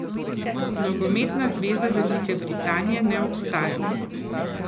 Nogometna zveza Velike Britanije ne obstaja.